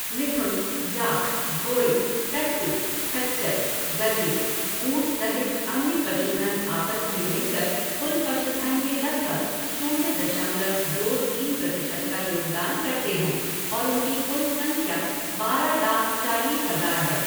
मिथुन, yak, घोड़े, टट्टू, खच्चर, गधे, ऊंट सहित अन्य पशुधन आपस में मिलकर कुल पशुधन में लगभग शून्य दशमलव दो तीन प्रतिशत का योगदान करते हैं और उनकी कुल संख्या बारह लाख चालीस हज़ार है।